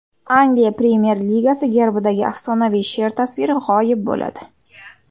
Angliya Premyer-ligasi gerbidagi afsonaviy sher tasviri g‘oyib bo‘ladi.